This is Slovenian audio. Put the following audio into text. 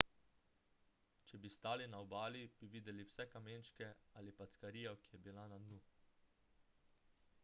če bi stali na obali bi videli vse kamenčke ali packarijo ki je bila na dnu